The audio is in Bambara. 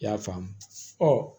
I y'a faamu ɔ